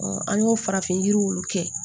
an y'o farafin yiriw kɛ